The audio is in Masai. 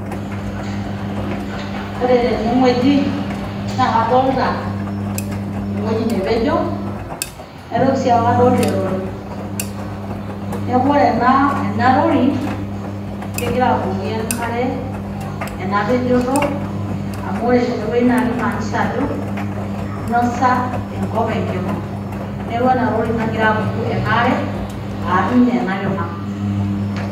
pause Oore tenewueji naa kadolta ewueji nepejo, naitoki sii aaku kapejito erori. Niaku oore ena rori kegira abukoki enkare eena pejoto amuu oore teene wueji naa keimaanisha aajo einosa enkop enkima. Niaku eena rori nagira ninye abuku eena aare aar ninye eena kima.